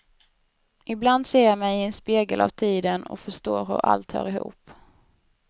Ibland ser jag mig i en spegel av tiden och förstår hur allt hör ihop.